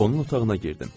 Onun otağına girdim.